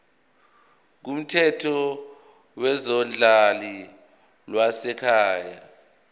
kumthetho wezodlame lwasekhaya